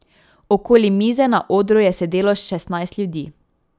Okoli mize na odru je sedelo šestnajst ljudi.